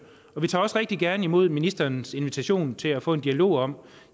og vi tager også rigtig gerne imod ministerens invitation til at få en dialog om